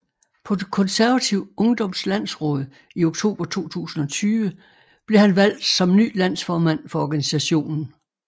På Konservativ Ungdoms Landsråd i oktober 2020 blev han han valgt som ny landsformand for organisationen